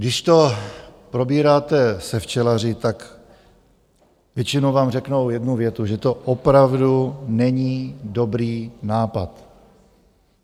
Když to probíráte se včelaři, tak většinou vám řeknou jednu větu: že to opravdu není dobrý nápad.